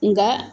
Nka